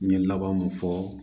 N ye laban mun fɔ